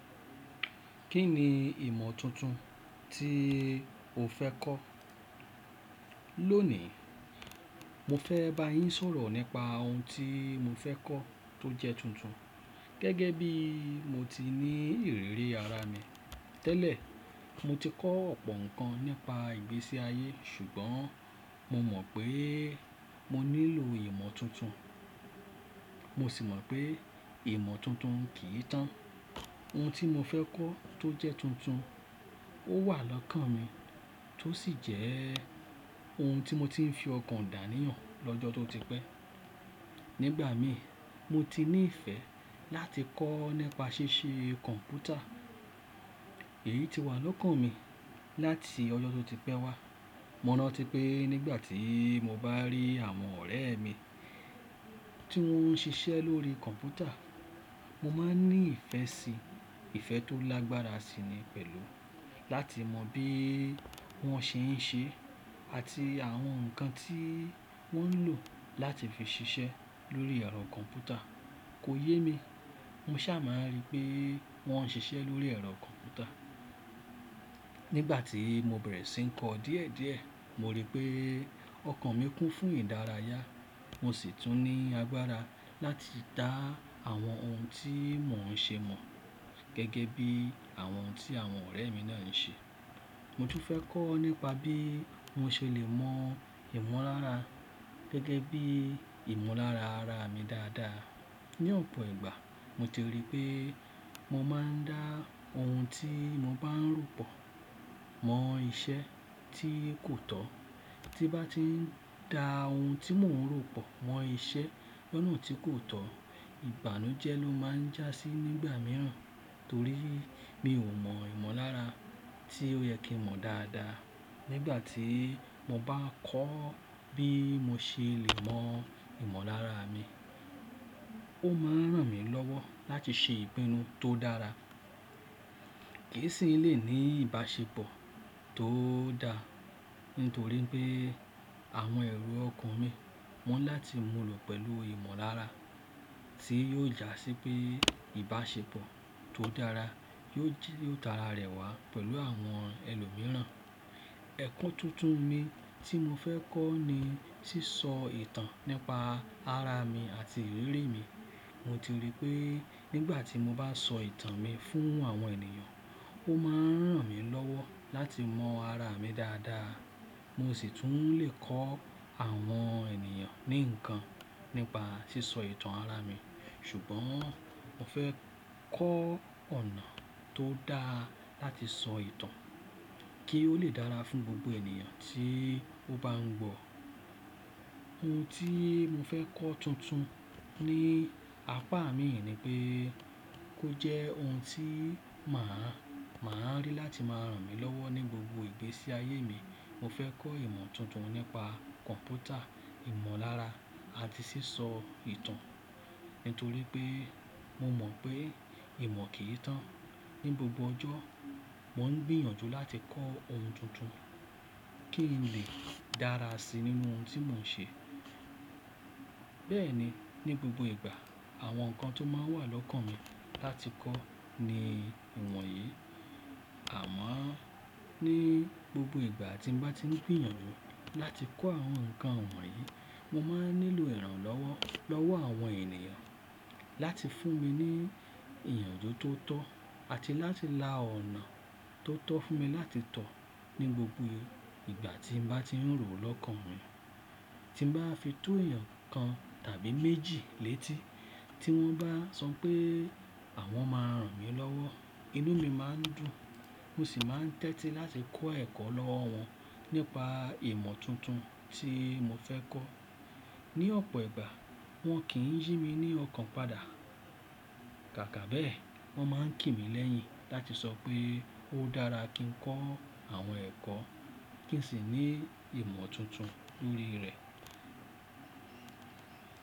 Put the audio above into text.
Kí ni ìmọ̀ tuntun tí o fẹ́ kọ́? Lónìí, mo fẹ́ bá yín sọ̀rọ̀ nípa ohun tí mo fẹ́ kọ́ tó jẹ́ tuntun. Gẹ́gẹ́ bí mo ti ní ìrírí ara mi tẹ́lẹ̀, mo ti kọ́ ọ̀pọ̀ nǹkan nípa ìgbésí ayé ṣùgbọ́n mo mọ̀ pé mo nílò ìmọ̀ tuntun. Mo sì mọ̀ pé ìmọ̀ tuntun kì í tán. Ohun tí mo fẹ́ kọ́ tó jẹ́ tuntun, ó wà lọ́kàn mi tó sì jẹ́ ohun tí mo ti ń fi ọkàn dàní hàn lọ́jọ́ tó ti pẹ́. Nígbà mí, mo ti ní ìfẹ́ láti kọ́ nípa ṣíṣe kọ̀m̀pútà. Èyí ti wà lọ́kàn mi láti ọjọ́ tó ti pẹ́ wá. Mo rántí pé nígbà tí mo bá rí àwọn ọ̀rẹ́ mi tí wọ́n ń ṣiṣẹ́ lórí kọ̀m̀pútà, mo máa ń ní ìfẹ́ sí i. Ìfẹ́ tó lágbára sí i ni pẹ̀lú láti mọ bí wọ́n ṣe ń ṣe àti àwọn nǹkan tí wọ́n ń lò láti fi ṣiṣẹ́ lórí ẹ̀rọ kọ̀m̀pútà. Kò yé mi, mo sa máa ń rí pé wọ́n ń ṣiṣẹ́ lórí ẹ̀rọ kọ̀m̀pútà. Nígbà tí mo bẹ̀rẹ̀ sí ń kọ́ díẹ̀ díẹ̀, mo rí pé ọkàn mi kún fún ìdárayá. Mo sì tún ní agbára láti dá àwọn ohun tí mò ń ṣe mọ̀ gẹ́gẹ́ bí àwọn ohun tí àwọn ọ̀rẹ́ mi náà ń ṣe. Mo tún fẹ́ kọ́ nípa bí mo ṣe lè mọ ìmọ̀lára gẹ́gẹ́ bí ìmọ̀lára ara mi dáadáa. Ni ọ̀pọ̀ ìgbà, mo ti rí pé mo máa ń dá ohun tí mo bá ń ròpọ̀ mọ iṣẹ́ tí kò tọ́. Tí bá ti ń dá ohun tí mò ń ròpọ̀ mọ iṣẹ́ lọ́nà tí kò tọ́, ìbànújẹ́ ló máa ń jásí nígbà mìíràn torí mi ò mọ ìmọ̀lára tí ó yẹ kí mọ̀ dáadáa. Nígbà tí mo bá kọ́ bí mo ṣe lè mọ ìmọ̀lára mi, ó máa ń ràn mí lọ́wọ́ láti ṣe ìpinnu tó dára. Kì í sì ní lè ní ìbáṣepọ̀ tó dáa nítorí pé àwọn ẹ̀rọ ọkàn mi mọ̀ láti mú lọ pẹ̀lú ìmọ̀lára tí yóò jásí pé ìbáṣepọ̀ tó dára yóò jí, yóò tara rẹ̀ wá pẹ̀lú àwọn ẹlòmíràn. Ẹ̀kún tuntun mi tí mo fẹ́ kọ́ ni sísọ ìtàn nípa ara mi àti ìrírí mi. Mo ti rí pé nígbà tí mo bá sọ ìtàn mi fún àwọn ènìyàn, ó máa ń ràn mí lọ́wọ́ láti mọ ara mi dáadáa. Mo sì tún lè kọ́ àwọn ènìyàn ní nǹkan nípa sísọ ìtàn ara mi. Ṣùgbọ́n mo fẹ́ kọ́ ọ̀nà tó dáa láti sọ ìtàn kí ó lè dára fún gbogbo ènìyàn tí ó bá ń gbọ́. Ohun tí mo fẹ́ kọ́ tuntun ní apá mi ni pé kó jẹ́ ohun tí màá, màá rí láti máa ràn mí lọ́wọ́ ní gbogbo ìgbésí ayé mi. Mo fẹ́ kọ́ ìmọ̀ tuntun nípa kọ̀m̀pútà, ìmọ̀lára àti sísọ ìtàn. Nítorí pé mo mọ̀ pé ìmọ̀ kì í tán. Ni gbogbo ọjọ́, mò ń gbìyànjú láti kọ́ ohun tuntun kí n lè dára sí i nínú ohun tí mò ń ṣe. Bẹ́ẹ̀ ni ní gbogbo ìgbà, àwọn nǹkan tó máa wà lọ́kàn mi láti kọ́ ni ìwọ̀n yìí. Àmọ́ ní gbogbo ìgbà tí mo bá ti ń gbìyànjú láti kọ́ àwọn nǹkan ìwọ̀n yìí, mo máa ń nílò ìrànlọ́wọ́ lọ́wọ́ àwọn ènìyàn láti fún mi ní ìyànjú tó tọ́ àti láti la ọ̀nà tó tọ́ fún mi láti tọ̀ ní gbogbo ìgbà tí n bá ti ń rò ó lọ́kàn mi. Tí n bá fi tó èèyàn kan tàbí méjì létí tí wọ́n bá sọ pé àwọn máa ràn mí lọ́wọ́, inú mi máa ń dùn. Mo sì máa ń tẹ́tí láti kọ́ ẹ̀kọ́ lọ́wọ́ wọn nípa ìmọ̀ tuntun tí mo fẹ́ kọ́. Ni ọ̀pọ̀ ìgbà, wọ́n kì í yí mi ní ọkàn padà. Kàkà bẹ́ẹ̀, wọ́n máa ń kí mi lẹ́yìn láti sọ pé ó dára kí n kọ́ àwọn ẹ̀kọ́ kí n sì ní ìmọ̀ tuntun lórí rẹ̀.